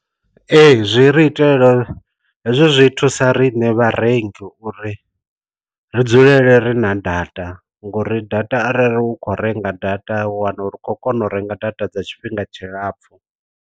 Ee zwi ri itela hezwo zwi thusa riṋe vha rengi uri ri dzulele ri na data ngori data arali u kho renga data wana ri khou kona u renga data dza tshifhinga tshilapfhu.